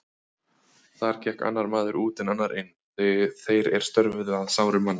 Þar gekk annar maður út en annar inn, þeir er störfuðu að sárum manna.